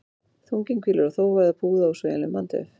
Þunginn hvílir á þófa eða púða úr sveigjanlegum bandvef.